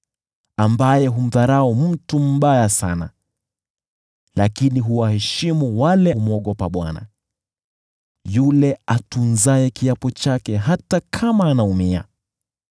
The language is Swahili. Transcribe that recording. ambaye humdharau mtu mbaya, lakini huwaheshimu wale wamwogopao Bwana , yule atunzaye kiapo chake hata kama anaumia.